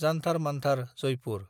Jantar Mantar (Jaipur)